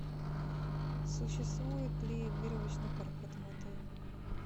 существует ли веревочный парк в этом отеле